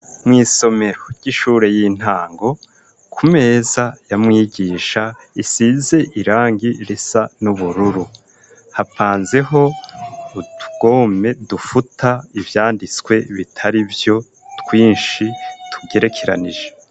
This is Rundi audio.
mu isomero ry'ishure y'intango ku meza ya mwigisha isize irangi risa n'ubururu hapanzeho utugome dufuta ivyanditswe bitarivyo twishi tugerekeranije.